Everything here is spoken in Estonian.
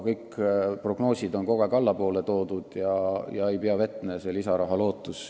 Kõik prognoosid on kogu aeg allapoole toodud, lisaraha lootus ei pea vett.